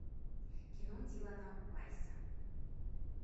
кино дилана уайсса